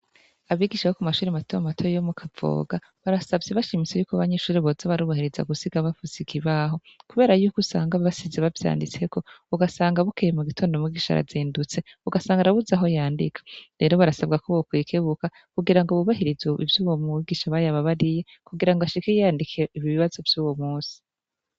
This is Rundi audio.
Abigisha bo ku mashuri matama matoyo yo mu kavoga barasavye ibashimise yuko babanyishure boza barubahiriza gusiga bafuse ikibaho, kubera yuko usanga basize bavyanditseko ugasanga bukeye mu gitondo mugisha arazendutse ugasanga arabuza aho yandika rero barasabwa ko bokoyikebuka kugira ngo bubahiriza ivyo ubo mu bigisha bayababariye kugira ngo ashike iyi yandikiye ibie basovyo uwo musi.